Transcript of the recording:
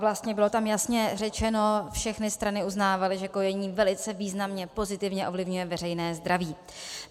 Vlastně bylo tam jasně řečeno, všechny strany uznávaly, že kojení velice významně pozitivně ovlivňuje veřejné zdraví.